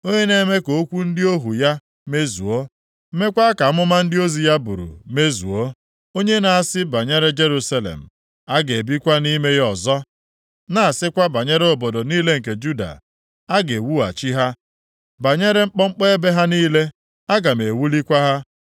onye na-eme ka okwu ndị ohu ya mezuo meekwa ka amụma ndị ozi ya buru mezuo, onye na-asị banyere Jerusalem, ‘A ga-ebikwa nʼime ya ọzọ,’ na-asịkwa banyere obodo niile nke Juda, ‘A ga-ewughachi ha,’ banyere mkpọmkpọ ebe ha niile, ‘Aga m ewulikwa ha.’